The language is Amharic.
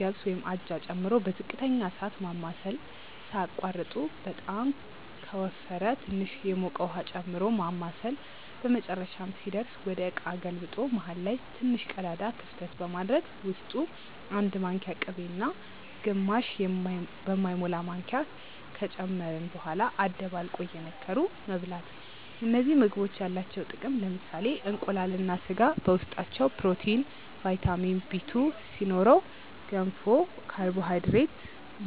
ገብስ (አጃ) ጨምሮ በዝቅተኛ እሳት ማማሰል ሳያቋርጡ በጣም ከወፈረ ትንሽ የሞቀ ውሃ ጨምሮ ማማሳል በመጨረሻም ሲደርስ ወደ እቃ ገልብጦ መሃል ላይ ትንሽ ቀዳዳ ክፍተት በማድረግ ውስጡ 1 ማንኪያ ቅቤ እና ግማሽ በማይሞላ ማንኪያ ከጨመርን በኋላ አደባልቆ እየነከሩ መብላት እነዚህ ምግቦች ያላቸው ጥቅም ለምሳሌ እንቁላል እና ስጋ በውስጣቸው ፕሮቲን፣ ቫይታሚን Bl2 ሲኖረው ገንፎ ካርቦሃይድሬት፣